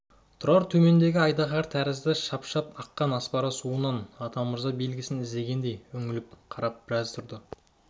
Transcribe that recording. тұрар төмендегі ақ айдаһар тәрізді шапшып аққан аспара суынан атамырза белгісін іздегендей үңіле қарап біраз тұрды